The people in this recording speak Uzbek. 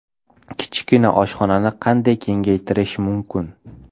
Kichkina oshxonani qanday kengaytirish mumkin?